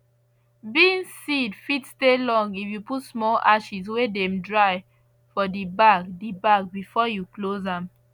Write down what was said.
beans seed fit stay long if you put small ashes wey dem dry for di bag di bag before you close am